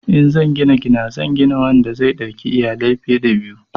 In zan gina gida zan gina wanda zai dauki iyalai fiye da biyu.